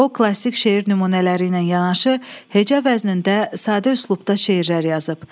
O klassik şeir nümunələri ilə yanaşı, heca vəznində sadə üslubda şeirlər yazıb.